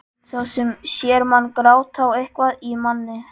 Sá sem sér mann gráta á eitthvað í manni.